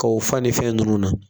Ka o fane fɛn ninnu na